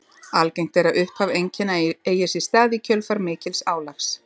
Algengt er að upphaf einkenna eigi sér stað í kjölfar mikils álags.